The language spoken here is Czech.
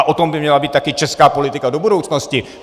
A o tom by měla být také české politika do budoucnosti.